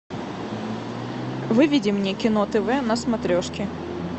выведи мне кино тв на смотрешке